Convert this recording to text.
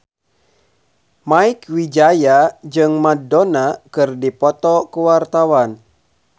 Mieke Wijaya jeung Madonna keur dipoto ku wartawan